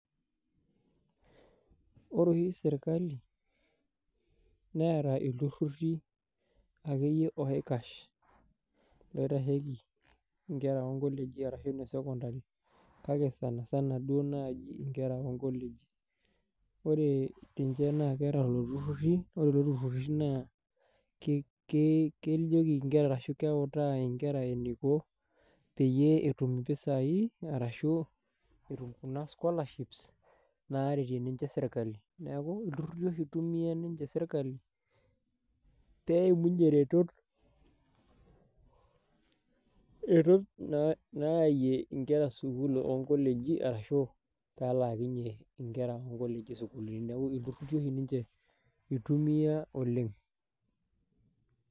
Ore oshi sirkali neeta ilturruri akeyie oikash loitasheki inkera onkoleji arashu ine sekondari kake sanasana duo naaji inkera onkoleji ore ninche naa keeta lelo turruri ore lelo turruri naa kei kejoki inkera arashu keutaa inkera eniko peyie etum impisai arashu etum kuna scholarships naretie ninche sirkali neku ilturruri oshi itumia ninche serkali peimunyie iretot iretot nayayie inkera sukuul onkoleji arashu pelaakinyie inkera onkoleji isukulini neku ilturruri oshi ninje itumia oleng.